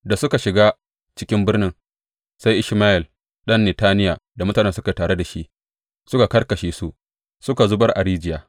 Da suka shiga cikin birni, sai Ishmayel ɗan Netaniya da mutanen da suke tare da shi suka karkashe su suka zubar a rijiya.